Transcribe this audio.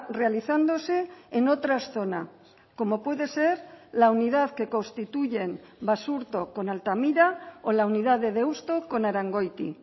realizándose en otras zonas como puede ser la unidad que constituyen basurto con altamira o la unidad de deusto con arangoiti